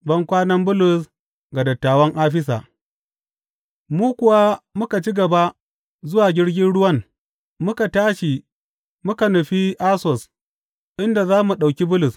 Bankwanan Bulus ga dattawan Afisa Mu kuwa muka ci gaba zuwa jirgin ruwan muka tashi muka nufi Assos inda za mu ɗauki Bulus.